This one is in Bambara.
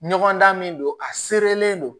Ɲɔgɔn dan min don a seerelen don